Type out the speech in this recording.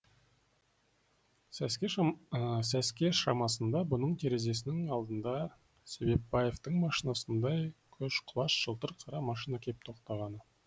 сәске шамасында бұның терезесінің алдына себепбаевтың машинасындай көшқұлаш жылтыр қара машина кеп тоқтағаны